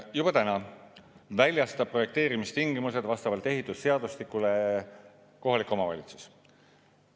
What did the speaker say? Juba täna väljastab projekteerimistingimused vastavalt ehitusseadustikule kohalik omavalitsus.